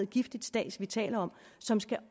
giftigt stads vi taler om som skal